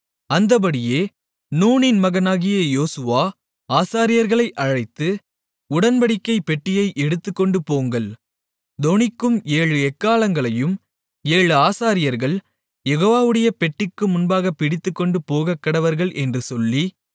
அந்தப்படியே நூனின் மகனாகிய யோசுவா ஆசாரியர்களை அழைத்து உடன்படிக்கைப் பெட்டியை எடுத்துக்கொண்டுபோங்கள் தொனிக்கும் ஏழு எக்காளங்களையும் ஏழு ஆசாரியர்கள் யெகோவாவுடைய பெட்டிக்கு முன்பாகப் பிடித்துக்கொண்டு போகக்கடவர்கள் என்று சொல்லி